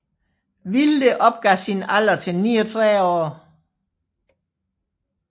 Wilde opgav sin alder til 39 år